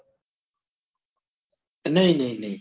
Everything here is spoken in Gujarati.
નઈ નઈ નઈ